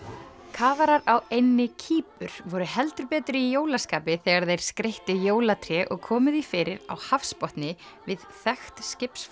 kafarar á eynni Kýpur voru heldur betur í jólaskapi þegar þeir skreyttu jólatré og komu því fyrir á hafsbotni við þekkt